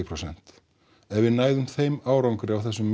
prósent ef við næðum þeim árangri á þessum